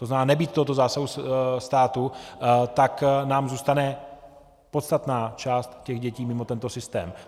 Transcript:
To znamená, nebýt tohoto zásahu státu, tak nám zůstane podstatná část těch dětí mimo tento systém.